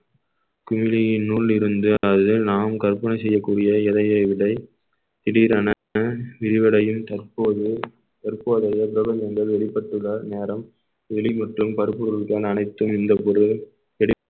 குழியினுள் இருந்து அதாவது நாம் கற்பனை செய்யக்கூடிய இலையை விடை திடீரென விரிவடையும் தற்போது தற்போதைய என்பது வெளிப்பட்டுள்ள நேரம் வெளி மற்றும் பருப்பு பொருட்களுக்கான அனைத்தும் இந்த பொருள்